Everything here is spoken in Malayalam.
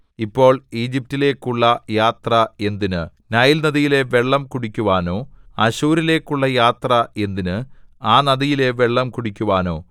ഇപ്പോൾ ഈജിപ്റ്റിലേക്കുള്ള യാത്ര എന്തിന് നൈല്‍ നദിയിലെ വെള്ളം കുടിക്കുവാനോ അശ്ശൂരിലേക്കുള്ള യാത്ര എന്തിന് ആ നദിയിലെ വെള്ളം കുടിക്കുവാനോ